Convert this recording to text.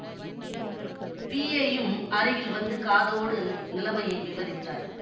பிஏயும் அருகில் வந்து காதோடு நிலமையை விவரித்தார்